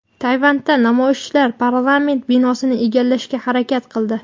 Tayvanda namoyishchilar parlament binosini egallashga harakat qildi.